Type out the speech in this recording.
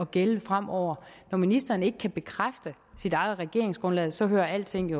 gælde fremover når ministeren ikke kan bekræfte sit eget regeringsgrundlag så hører alting